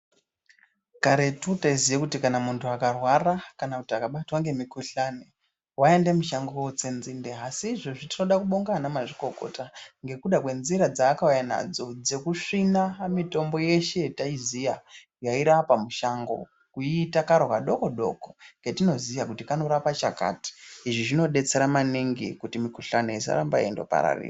Karetu taiziye kuti kana muntu akarwara kana kuti akabatwa ngemikuhlani waiende mushango wootse nzinde. Asi izvozvi tinoda kubonga anamazvikokota ngekuda kwenzira dzaakauya nadzo dzekusvina mitombo yeshe yetaiziya yairapa mushango kuiita karo kadokodoko ketinoziya kuti kanorapa chakati. Izvi zvinodetsera maningi kuti mikuhlani isaramba yeindopararira.